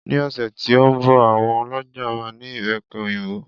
Ní ọ̀sẹ̀ tí ó ń bọ̀ àwọn ọlọ́ja máa ní Ìbẹ́pe òyìnbó.